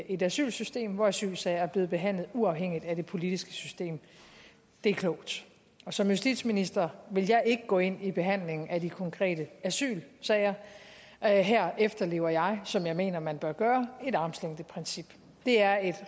et asylsystem hvor asylsager er blevet behandlet uafhængigt af det politiske system det er klogt som justitsminister vil jeg ikke gå ind i behandlingen af de konkrete asylsager her her efterlever jeg som jeg mener man bør gøre et armslængdeprincip det er et